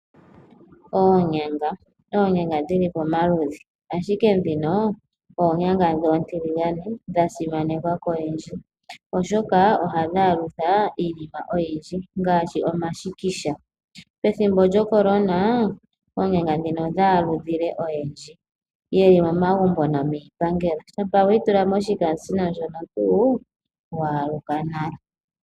Oonyanga Oonyanga dhi li pamaludhi, ashike ndhino oonyanga oontiligane dha simanekwa koyendji, oshoka ohadhi aludha iinima oyindji ngaashi omashikisha. Pethimbo lyoCorona oonyanga ndhika odha aludha oyendji ye li momagumbo nomiipangelo. Shampa we yi tula moshikaasino ndjono tuu, wa aluka nale.